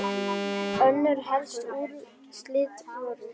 Önnur helstu úrslit voru